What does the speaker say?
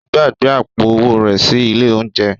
Ó gbàgbé àpò-owó rẹ̀ sí ilé-oúnjẹ.